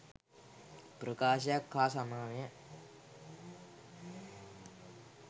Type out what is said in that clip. ප්‍රකාශයක් හා සමානය.